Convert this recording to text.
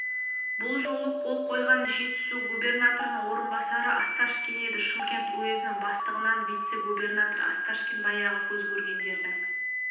бұл жолы қол қойған жетісу губернаторының орынбасары осташкин еді шымкент уезінің бастығынан вице-губернатор осташкин баяғы көзкөргендердің